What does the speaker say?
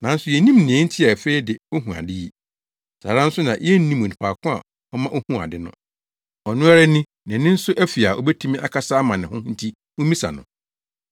Nanso yennim nea enti a afei de ohu ade yi. Saa ara nso na yennim onipa ko a ɔma ohuu ade no. Ɔno ara ni, nʼani nso afi a obetumi akasa ama ne ho nti mummisa no.”